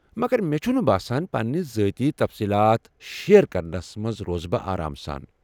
مگر بہٕ چھُنہٕ باسان پنٕنہِ ذٲتی تفصیٖلات شیر كرنس منز روزٕ بہٕ آرام سان ۔